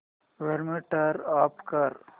volume turn off कर